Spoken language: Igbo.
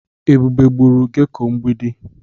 Ebube gburu geko mgbidi.